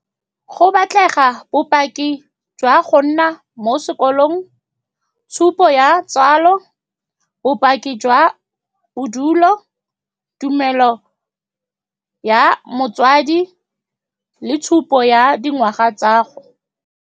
Go batlega bopaki jwa go nna mo sekolong, tshupo ya tsalo, bopaki jwa bodulo, tumelo ya motswadi, le tshupo ya dingwaga tsa gago.